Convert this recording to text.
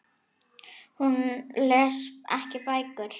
Hún les ekki bækur.